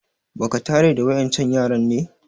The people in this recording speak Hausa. Ba ka tare da wa ƴan can yaran ne?